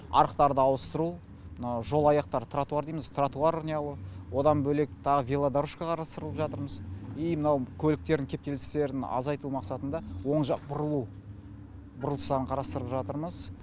арықтарды ауыстыру мынау жолаяқтар тратуар дейміз тратуар неғылу одан бөлек тағы велодарожка қарастырып жатырмыз и мынау көліктердің кептелістерін азайту мақсатында оң жақ бұрылу бұрылыстарын қарастырып жатырмыз